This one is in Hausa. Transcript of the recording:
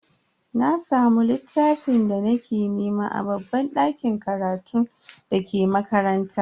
Na samu littafin da nake nema a babban dakin karatun dake makaranta.